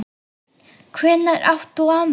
Hvenær átt þú afmæli?